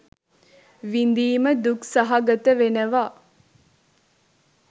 විඳීම දුක් සහගත වෙනවා.